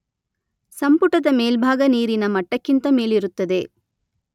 ಸಂಪುಟದ ಮೇಲ್ಭಾಗ ನೀರಿನ ಮಟ್ಟಕ್ಕಿಂತ ಮೇಲಿರುತ್ತದೆ.